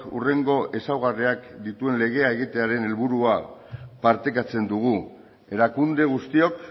hurrengo ezaugarriak dituen legea egitearen helburua partekatzen dugu erakunde guztiok